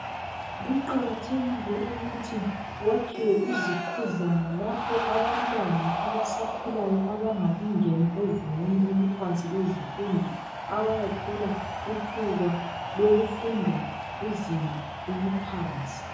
Kuqakathekile ukuthi kwakhiwe izokodlana lapho abantwana abasakhulayo abangakangeni ezingeni eliphansi lezifundo abayathola ithuba lokufunda izinga eliphansi.